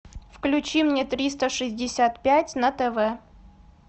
включи мне триста шестьдесят пять на тв